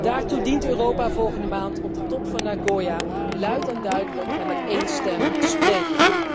Daartoe dient Europa volgende maand op de top van Nagoya luid en duidelijk en met één stem te spreken.